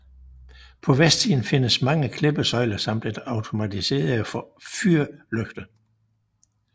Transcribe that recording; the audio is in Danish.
På vestsiden findes mange klippesøjler samt en automatiseret fyrlygte